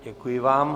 Děkuji vám.